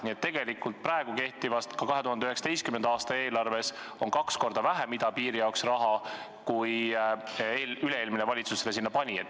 Nii et tegelikult praegu kehtivas, 2019. aasta eelarves on kaks korda vähem idapiiri jaoks raha, kui üle-eelmine valitsus sinna pani.